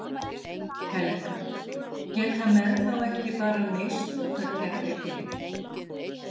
Helga: Geta menn þá ekki bara misnotað kerfið Gylfi?